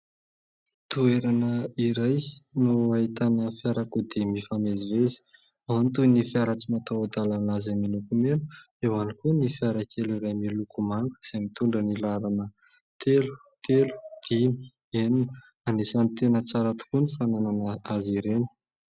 Toerana iray no ahitana fiarakodia mifamezivezy, ao ny toy ny fiara tsy mataho-dalana izay miloko mena, eo ihany koa ny fiara kely iray miloko manga izay mitondra ny laharana telo, telo, dimy, enina. Anisan'ny tena tsara tokoa ny fananana azy ireny.